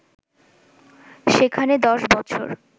সেখানে ১০ বছর